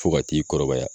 Fo ka t'i kɔrɔbaya